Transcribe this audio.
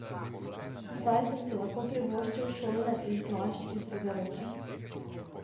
Zdaj sem si lahko privoščil šolne in plašč iz druge roke.